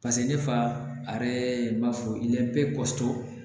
Paseke ne fa a yɛrɛ b'a fɔ i bɛ bɛɛ